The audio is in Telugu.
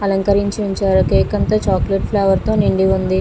అలంకరించి ఉంచారు కేక్ అంతా చాక్లెట్ ఫ్లేవర్ తో నిండి ఉంది.